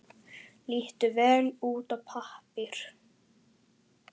Lítur vel út á pappír.